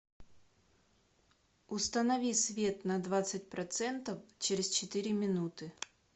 установи свет на двадцать процентов через четыре минуты